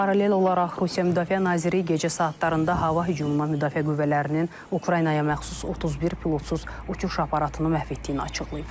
Paralel olaraq Rusiya Müdafiə naziri gecə saatlarında hava hücumundan Müdafiə Qüvvələrinin Ukraynaya məxsus 31 pilotsuz uçuş aparatını məhv etdiyini açıqlayıb.